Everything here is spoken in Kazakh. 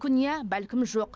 мүмкін иә бәлкім жоқ